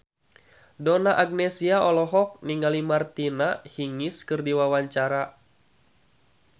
Donna Agnesia olohok ningali Martina Hingis keur diwawancara